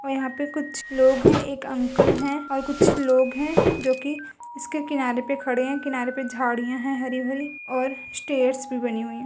और यहाँ पे कुछ लोग हैं एक अंकल हैं और कुछ लोग हैं जो कि इसके किनारे पे खड़े हैं। किनारे पे झाड़ियाँ हैं हरी-भरी और स्टेयर्स भी बनी हुई हैं।